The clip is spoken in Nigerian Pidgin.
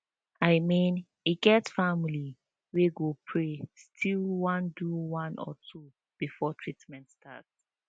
i mean e get family wey go pray still one do one or two before treament start